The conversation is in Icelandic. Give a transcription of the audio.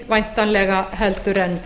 væntanlega minni en